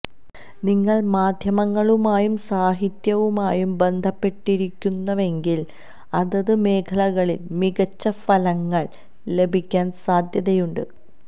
നിങ്ങള് മാധ്യമങ്ങളുമായും സാഹിത്യവുമായും ബന്ധപ്പെട്ടിരിക്കുന്നുവെങ്കില് അതത് മേഖലകളില് മികച്ച ഫലങ്ങള് ലഭിക്കാന് സാധ്യതയുണ്ട്